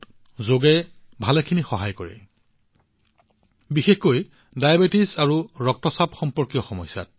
যোগে যথেষ্ট সহায় কৰে বিশেষকৈ ডায়েবেটিচ আৰু ৰক্তচাপৰ সৈতে সম্পৰ্কিত অসুবিধাবোৰত